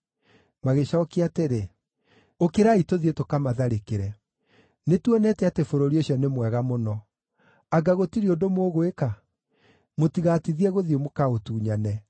Magĩcookia atĩrĩ, “Ũkĩrai tũthiĩ tũkamatharĩkĩre! Nĩtuonete atĩ bũrũri ũcio nĩ mwega mũno. Anga gũtirĩ ũndũ mũgwĩka? Mũtigatithie gũthiĩ mũkaũtunyane.